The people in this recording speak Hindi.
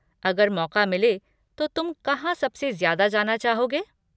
अगर मौक़ा मिले तो तुम कहाँ सबसे ज़्यादा जाना चाहोगे?